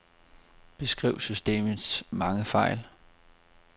Beskriv systemets mange fejl.